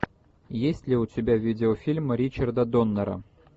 есть ли у тебя видеофильм ричарда доннера